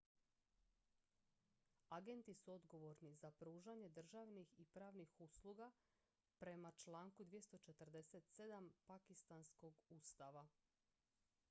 agenti su odgovorni za pružanje državnih i pravnih usluga prema članku 247. pakistanskog ustava